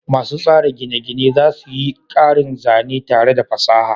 Masu tsara gine-gine za su yi ƙarin zane tare da fasaha.